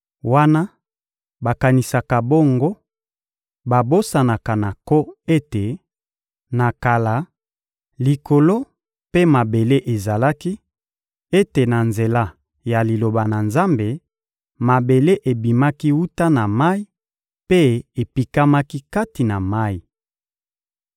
Wana bakanisaka bongo, babosanaka na nko ete, na kala, Likolo mpe mabele ezalaki; ete na nzela ya Liloba na Nzambe, mabele ebimaki wuta na mayi mpe epikamaki kati na mayi.